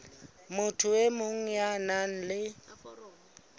motho e mong ya nang